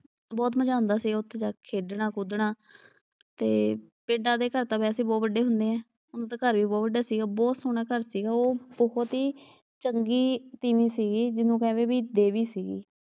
ਬਹੁਤ ਮਜ਼ਾ ਆਉਂਦਾ ਸੀ ਉੱਥੇ ਜਾ ਕੇ ਖੇਡਣਾ ਖੁਡਨਾ, ਤੇ ਪਿੰਡਾਂ ਦੇ ਘਰ ਤਾਂ ਵੈਸੇ ਬਹੁਤ ਵੱਡੇ ਹੁੰਦੇ ਆ ਉਹਦਾ ਤਾਂ ਘਰ ਈ ਬਹੁਤ ਵੱਡਾ ਸੀਗਾ, ਬਹੁਤ ਸੋਹਣਾ ਘਰ ਸੀਗਾ। ਉਹ ਬਹੁਤ ਈ ਚੰਗੀ ਤੀਵੀਂ ਸੀਗੀ ਜਿਹਨੂੰ ਕਹਿੰਦੇ ਬਈ ਦੇਵੀ ਸੀਗੀ।